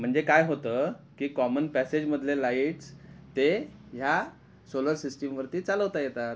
म्हणजे काय होत कि कॉमन पॅसेज मधले लाईट्स ते ह्या सोलार सिस्टिम वरती चालवता येतात